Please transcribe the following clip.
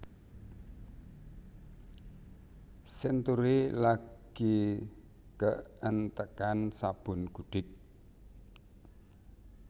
Century lagi keentekan sabun gudik